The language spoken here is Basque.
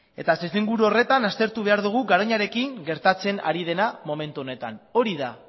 eta testuinguru horretan aztertu behar dugu garoñarekin gertatzen ari dena momentu honetan hori da